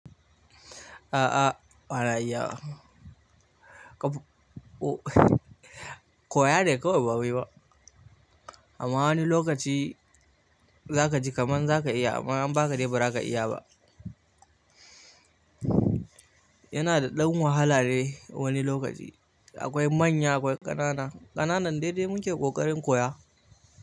A'a bana iyawa. Koya ne kawai bawai ba. Amma wani lokaci za ka ji kaman za ka iya amma in anba ka dai ba za ka iya ba. Yana da ɗan wahala dai wani lokaci. Akwai manya akwai ƙanana, ƙanana dai-dai mu ke ƙoƙarin koya.